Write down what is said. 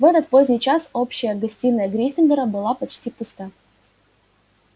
в этот поздний час общая гостиная гриффиндора была почти пуста